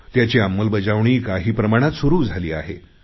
त्याची अंमलबजावणी काही प्रमाणात सुरु झाली आहे